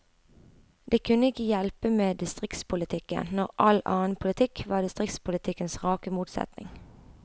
Det kunne ikke hjelpe med distriktspolitikken, når all annen politikk var distriktspolitikkens rake motsetning.